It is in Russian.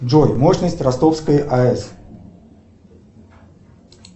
джой мощность ростовской аэс